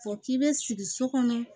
Fɔ k'i be sigi so kɔnɔ